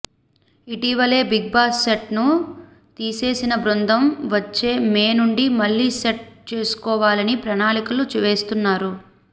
ఇటీవలే Bigg Boss set ను తీసేసిన బృందం వచ్చే మే నుండి మళ్ళీ సెట్ చేసుకోవాలని ప్రణాళికలు వేస్తున్నారు